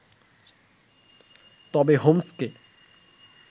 তবে হোমসকে